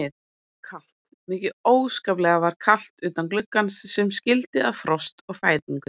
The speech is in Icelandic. Og kalt, mikið óskaplega var kalt utan gluggans sem skildi að frost og fæðingu.